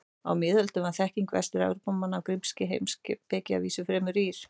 Á miðöldum var þekking Vestur-Evrópumanna á grískri heimspeki að vísu fremur rýr.